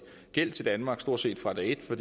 gæld til danmark stort set fra dag et for